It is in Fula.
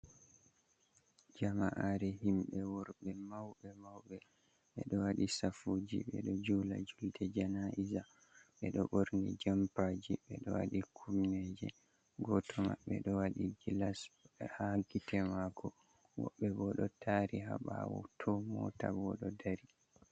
Jama'are himɓe worɓe mauɓe-mauɓe ɓeɗo waɗi safuji ɓeɗo jula julde janaiza. Ɓeɗo ɓorni jompaji, ɓeɗo waɗi kumneje goto maɓɓe ɗo waɗi gilas ha gite mako. Woɓɓe bo ɗo dari ha ɓawo tooh mota bo ɗo dari.